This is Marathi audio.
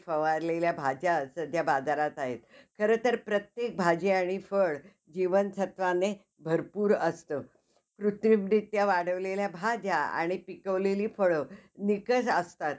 अह खूप मोठा अं rockstar आहे. तर त~ म्हणजे त्याला त्याची स्व~ स्वतःची~ स्वतःचा चेहरा आवडत नाही. तसंच दुसरी जी दाखवलेली आहे नयनतारा,